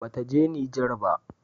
Ba ta je Nijar ba